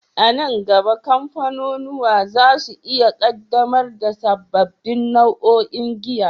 A nan gaba, kamfanunuwa za su iya ƙaddamar da sababbin nau'o'in giya.